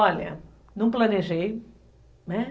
Olha, não planejei, né?